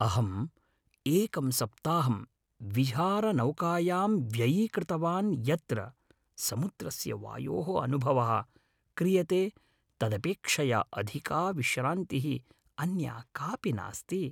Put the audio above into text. अहम् एकं सप्ताहं विहारनौकायां व्ययी कृतवान् यत्र समुद्रस्य वायोः अनुभवः क्रियते तदपेक्षया अधिका विश्रान्तिः अन्या कापि नास्ति।